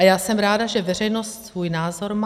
A já jsem ráda, že veřejnost svůj názor má.